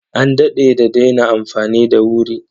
An daɗe da daina amfani da wuri.